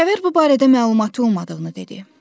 Kəvər bu barədə məlumatı olmadığını dedi.